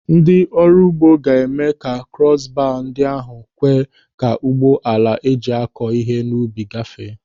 Ndị ọrụ ugbo ga-eme ka krọs baa ndị ahụ kwe ka ụgbọ ala eji akọ ihe n'ubi gafee.